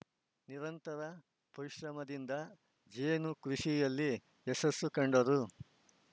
ನಿರಂತರ ಪರಿಶ್ರಮದಿಂದ ಜೇನು ಕೃಷಿಯಲ್ಲಿ ಯಶಸ್ಸು ಕಂಡರು